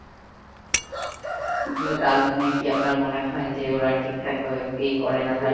কিন্তু তার মানে কি আপনার মনে হয় যে ওরা ঠিকঠাক ভাবে pay করে না